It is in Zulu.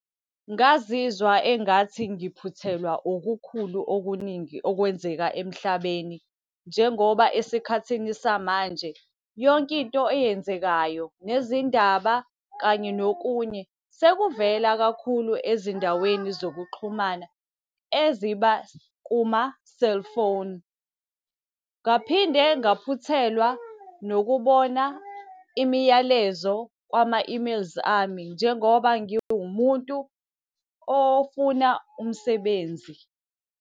Ngazizwa engathi ngiphuthelwa okukhulu okuningi okwenzeka emhlabeni, njengoba esikhathini samanje yonke into eyenzekayo, nezindaba kanye nokunye, sekuvela kakhulu ezindaweni zokuxhumana eziba kuma-cellphone. Ngaphinde ngaphuthelwa nokubona imiyalezo kwama-emails ami, njengoba ngiwumuntu ofuna umsebenzi.